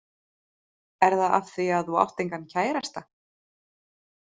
Er það af því að þú átt engan kærasta?